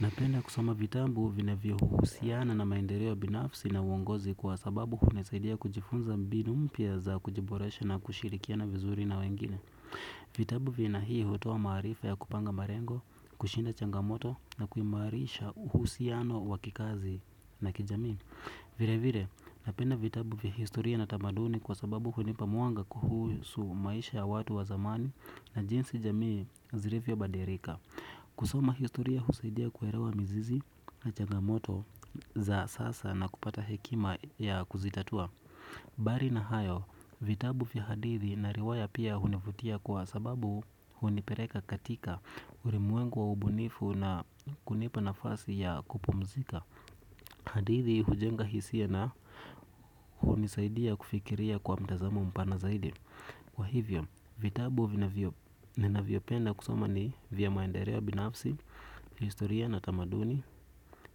Napenda kusoma vitabu vinavyo uhusiana na maendeleo binafsi na uongozi kwa sababu unisaidia kujifunza mbinu mpya za kujiboresha na kushirikiana vizuri na wengine. Vitabu vya haina hii hutoa marifa ya kupanga malengo, kushinda changamoto na kuimarisha uhusiano wa kikazi na kijamii. Vile vile napenda vitabu vya historia na tamaduni kwa sababu unipa mwanga kuhusu maisha ya watu wa zamani na jinsi jamii zilivyo badilika. Kusoma historia husaidia kuelewa mizizi na chagamoto za sasa na kupata hekima ya kuzitatua. Bali na hayo, vitabu vya hadithi na riwaya pia hunifutia kwa sababu hunipeleka katika, ulimwengu wa ubunifu na kunipa nafasi ya kupumzika. Hadithi hujenga hisia na hunisaidia kufikiria kwa mtazamo mpana zaidi. Kwa hivyo, vitabu ninavyopenda kusoma ni vya maendeleo binafsi, historia na tamaduni,